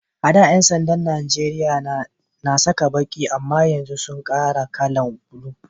A'da Yan sanda'n Nijeriya na sa baki amma yanzu sun kara kala'n bula.